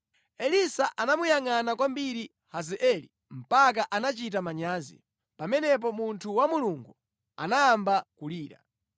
Elisa anamuyangʼana kwambiri Hazaeli mpaka anachita manyazi. Pamenepo munthu wa Mulungu anayamba kulira.